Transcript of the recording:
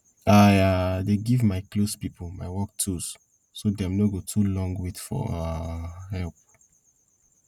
i um dey give my close pipo my work tools so dem no go too long wait for um help